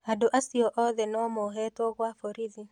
Andũ acio othe no mohetwo gwa borithi.